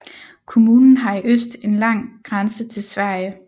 Kommunen har i øst en lang grænse til Sverige